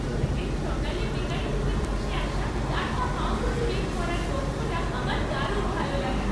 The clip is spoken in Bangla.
প্রতিদিন সকালে বেকারি থেকে ভেসে আসা টাটকা পাঁউরুটি বেক করার গন্ধটা আমার দারুণ ভালো লাগে।